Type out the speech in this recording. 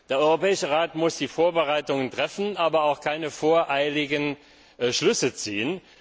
Der Europäische Rat muss die Vorbereitungen treffen, darf aber keine voreiligen Schlüsse ziehen.